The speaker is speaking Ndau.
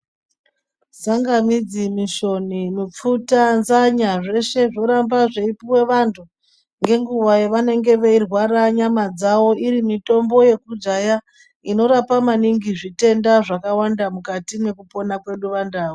Tsangamidzi, mishoni ,mipfuta, nzanya zveshe zvoramba zveipuwe vantu, ngenguwa yavanenge veirwara nyama dzavo iri mitombo yekudhaya, inorapa maningi zvitenda zvakawanda mukati mwekupona kwedu vandau.